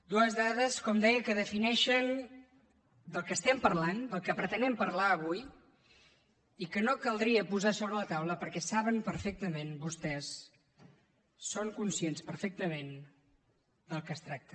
dues dades com deia que defineixen de què estem parlant de què pretenem parlar avui i que no caldria posar sobre la taula perquè saben perfectament vostès són conscients perfectament del que es tracta